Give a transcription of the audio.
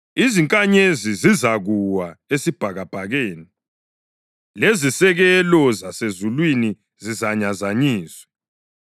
izinkanyezi zizakuwa esibhakabhakeni, lezisekelo zasezulwini zizazanyazanyiswa.’ + 13.25 U-Isaya 13.10; 34.4